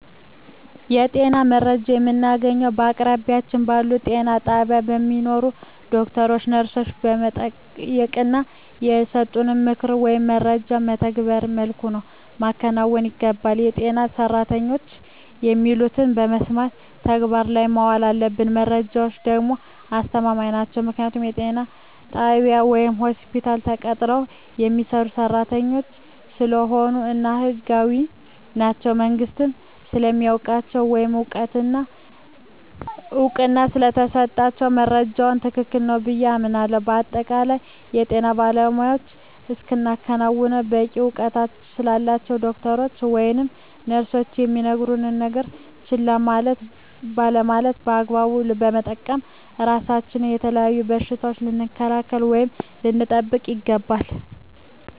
የጤና መረጃዎችን የምናገኘዉ በአቅራቢያችን ባሉ ጤና ጣቢያ በሚሰሩ ዶክተሮችን ነርሶችን በመጠየቅና የሰጡንን ምክሮች ወይም መረጃዎችን መተገቢዉ መልኩ ማከናወን ይገባናል በጤና ሰራተኖች የሚሉትን በመስማት ተግባር ላይ ማዋል አለብን መረጃዎች ደግሞ አስተማማኝ ናቸዉ ምክንያቱም ጤና ጣቢያ ወይም ሆስፒታል ተቀጥረዉ የሚሰሩ ሰራተኞች ስለሆኑ እና ህጋዊም ናቸዉ መንግስትም ስለሚያዉቃቸዉ ወይም እዉቅና ስለተሰጣቸዉ መረጃዉ ትክክል ነዉ ብየ አምናለሁ በአጠቃላይ የጤና ባለሞያዎች እስከሆኑና በቂ እዉቀት ስላላቸዉ ዶክተሮች ወይም ነርሶች የሚነግሩነን ነገሮች ችላ ባለማለት በአግባቡ በመጠቀም ራሳችንን ከተለያዩ በሽታዎች ልንከላከል ወይም ልንጠብቅ ይገባል